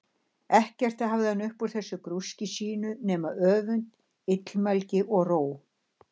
Ekkert hafði hann upp úr þessu grúski sínu nema öfund, illmælgi, og róg.